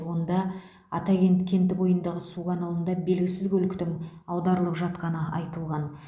онда атакент кенті бойындағы су каналында белгісіз көліктің аударылып жатқаны айтылған